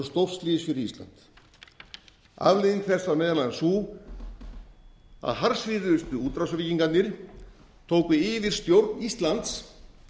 stórslys fyrir ísland afleiðing þess var meðal annars sú að harðsvíruðustu útrásarvíkingarnir tóku yfirstjórn íslands